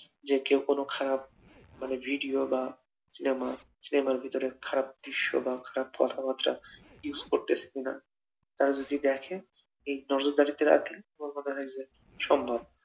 যে কেউ কোনো খারাপ মানে ভিডিও বা সিনেমা, সিনেমার ভিতরে খারাপ দৃশ্য বা কথাবার্তা use করতেছে কিনা তারা যদি দেখে নজরদারিতে রাখলে সম্ভব